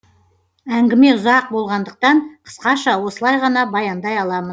әңгіме ұзақ болғандықтан қысқаша осылай ғана баяндай аламын